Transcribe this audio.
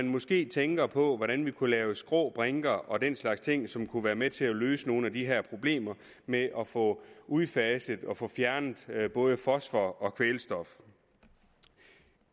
måske tænker på hvordan vi kunne lave skrå brinker og den slags ting som kunne være med til at løse nogle af de her problemer med at få udfaset og få fjernet både fosfor og kvælstof